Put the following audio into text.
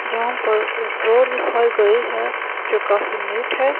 यहां पर एक रोड दिखाई गई है जो काफी नीट है।